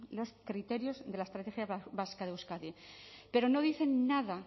los criterios de la estrategia vasca de euskadi pero no dice nada